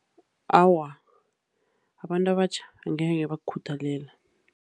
Awa, abantu abatjha angeke bakukhuthalela.